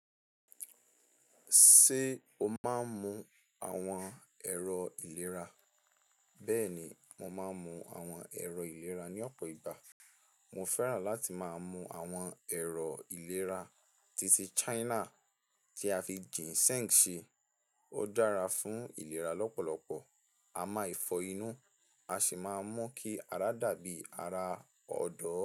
Ṣé o máa ń mu àwọn ẹ̀rọ ìlera? Bẹ́ẹ̀ni, mo máa ń mu àwọn ẹ̀rọ ìlera ní ọ̀pọ̀ ìgbà. Mo fẹ́ràn láti máa mu àwọn ẹ̀rọ ìlera titi China tí a fi Ginseng ṣe. Ó dára fún ìlera lọ́pọ̀lọpọ̀, a máa fọ inú, a sì máa mú kí ara dàbí ara ọ̀dọ́.